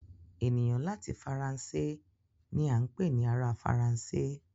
Ẹnìyàn láti Faransé ni à n pè ni ará Faransé